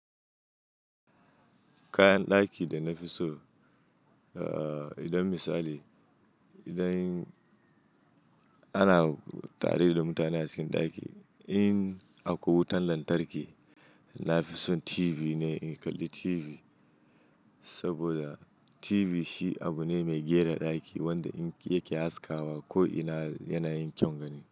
Kayan ɗaki da na fi so, idan misali idan ana tare da mutane a cikin ɗaki in akwai wutan lantarki, na fi son TV ne in kalli TV. Saboda TV shi abu ne mai gyara ɗaki wanda yake haskawa ko yana yin kyaugani.